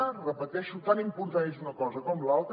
ho repeteixo tan important és una cosa com l’altra